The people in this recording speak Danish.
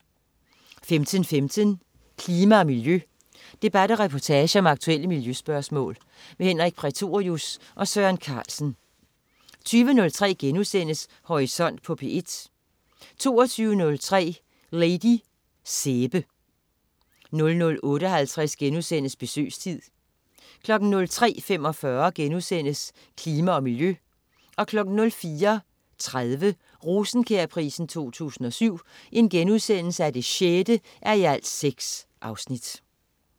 15.15 Klima og miljø. Debat og reportage om aktuelle miljøspørgsmål. Henrik Prætorius og Søren Carlsen 20.03 Horisont på P1* 22.03 Lady Sæbe 00.58 Besøgstid* 03.45 Klima og miljø* 04.30 Rosenkjærprisen 2007 6:6*